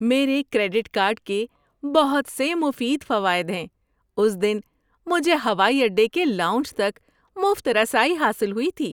میرے credit card کے بہت سے مفید فوائد ہیں۔ اُس دن مجھے ہوائی اڈے کے لاؤنج تک مفت رسائی حاصل ہوئی تھی۔